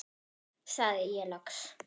sagði ég loks.